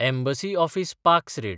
embassy office पाक्स rate